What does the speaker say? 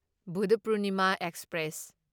Buddha Purnima express